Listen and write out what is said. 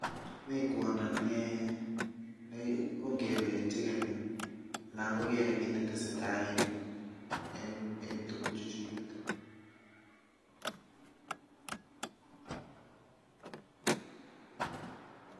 Mi kwondo ne chigeni kogere kii ne tesetai en tuguk chechiget.